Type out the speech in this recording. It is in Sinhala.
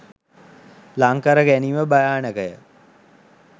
ළංකර ගැනීම භයානක ය.